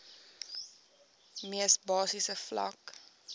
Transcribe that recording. mees basiese vlak